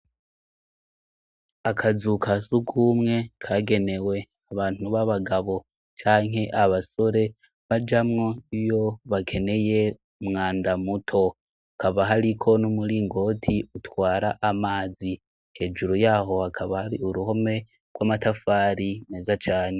Akazu ka surwumwe kagenewe abantu b'abagabo canke abasore bajamwo iyo bakeneye umwanda muto; Hakaba hariko n' umuringoti utwara amazi. Hejuru yaho hakaba hari uruhome rw'amatafari meza cane.